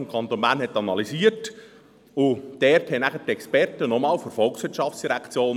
Schon damals hatte man die Situation des Kantons Bern analysiert.